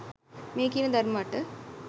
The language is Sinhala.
මේ කියන ධර්ම අට